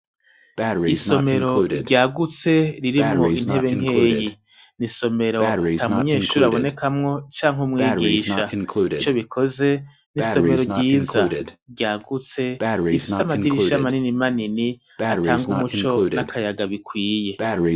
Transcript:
Isomero ryagutse ririmwo intebe nkeyi. Ni isomero ata munyeshure abonekamwo canke umwigisha. Ico bikoze, ni isomero ryiza, ryagutse, rifise amadirisha manini manini, atanga umuco n'akayaga bikwiye.